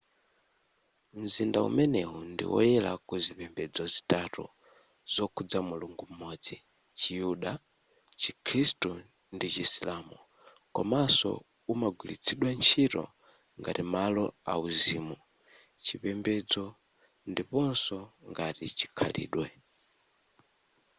mzinda umenewu ndiwoyera kuzipembedzo zitatu zokhudza mulungu m'modzi chiyuda chikhristu ndi chisilamu komanso umagwiritsidwa nchito ngati malo auzimu chipembedzo ndiponso ngati chikhalidwe